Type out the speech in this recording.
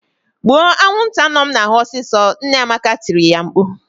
"Gbuo anwụnta nọ m n'ahụ ọsịsọ!" Nne Amaka tiri ya mkpu..